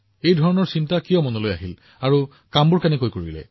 এই ধাৰণাটো কি আছিল আপুনি কেনেকৈ ভাবিছিল আৰু আপুনি কেনেকৈ কৰিছিল